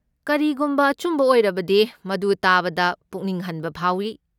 ꯀꯔꯤꯒꯨꯝꯕ ꯑꯆꯨꯝꯕ ꯑꯣꯏꯔꯕꯗꯤ, ꯃꯗꯨ ꯇꯥꯕꯗ ꯄꯨꯛꯅꯤꯡ ꯍꯟꯕ ꯐꯥꯎꯏ꯫